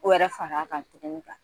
Ko wɛrɛ far'a kan tugun nka